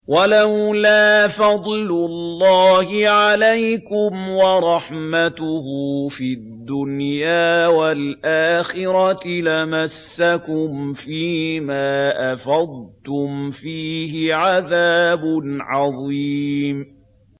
وَلَوْلَا فَضْلُ اللَّهِ عَلَيْكُمْ وَرَحْمَتُهُ فِي الدُّنْيَا وَالْآخِرَةِ لَمَسَّكُمْ فِي مَا أَفَضْتُمْ فِيهِ عَذَابٌ عَظِيمٌ